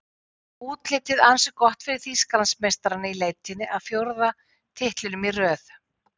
Útlitið ansi gott fyrir Þýskalandsmeistarana í leitinni að fjórða titlinum í röð.